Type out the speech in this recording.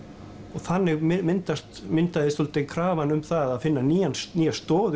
og þannig myndaðist myndaðist svolítið krafan um að finna nýja nýja stoð